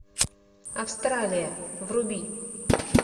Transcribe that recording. австралия вруби